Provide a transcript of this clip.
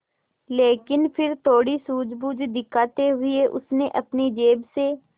लेकिन फिर थोड़ी सूझबूझ दिखाते हुए उसने अपनी जेब से